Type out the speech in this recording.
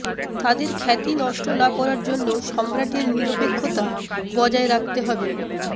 তাদের খ্যাতি নষ্ট না করার জন্য সম্রাটের নিরপেক্ষতা বজায় রাখতে হবে